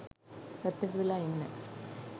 පැත්තකට වෙලා ඉන්න.